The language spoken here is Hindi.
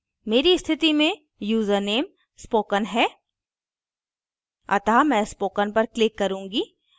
मेरी स्थिति में यूज़रनेम spoken है अतः मैं spoken पर click करुँगी